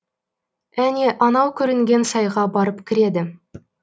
әне анау көрінген сайға барып кіреді